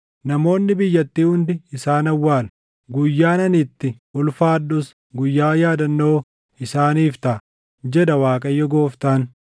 Namoonni biyyattii hundi isaan awwaalu; guyyaan ani itti ulfaadhus guyyaa yaadannoo isaaniif taʼa, jedha Waaqayyo Gooftaan.